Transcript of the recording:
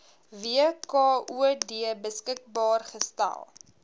wkod beskikbaar gestel